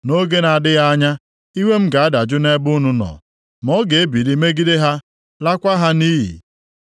Nʼoge na-adịghị anya, iwe m ga-adajụ nʼebe unu nọ, ma ọ ga-ebili megide ha, laakwa ha nʼiyi.”